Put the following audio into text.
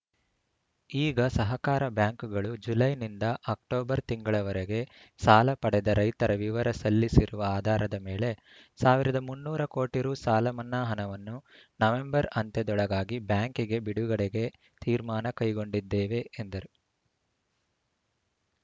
ಈಗ ಸಹಕಾರ ಬ್ಯಾಂಕುಗಳು ಜುಲೈನಿಂದ ಅಕ್ಟೋಬರ್‌ ತಿಂಗಳವರೆಗೆ ಸಾಲ ಪಡೆದ ರೈತರ ವಿವರ ಸಲ್ಲಿಸಿರುವ ಆಧಾರದ ಮೇಲೆ ಸಾವಿರದ ಮುನ್ನೂರು ಕೋಟಿ ರು ಸಾಲ ಮನ್ನಾ ಹಣವನ್ನು ನವೆಂಬರ್‌ ಅಂತ್ಯದೊಳಗಾಗಿ ಬ್ಯಾಂಕಿಗೆ ಬಿಡುಗಡೆಗೆ ತೀರ್ಮಾನ ಕೈಗೊಂಡಿದ್ದೇವೆ ಎಂದರು